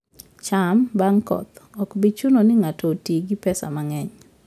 cham bang' koth, ok bi chuno ni ng'ato oti gi pesa mang'eny